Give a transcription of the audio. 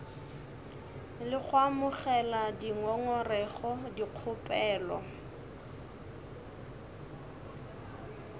le go amogela dingongorego dikgopelo